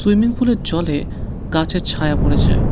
Swimming পুলের জলে গাছের ছায়া পড়েছে।